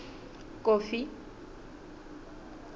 kofi